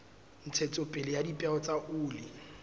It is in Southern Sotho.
ntshetsopele ya dipeo tsa oli